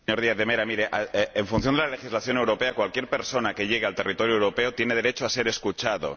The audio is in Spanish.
Señor Díaz de Mera, mire, en función de la legislación europea, cualquier persona que llegue al territorio europeo tiene derecho a ser escuchado.